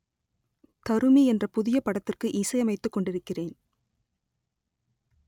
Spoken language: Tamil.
தருமி என்ற புதிய படத்திற்கு இசை அமைத்துக் கொண்டிருக்கிறேன்